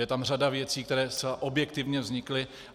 Je tam řada věcí, které zcela objektivně vznikly.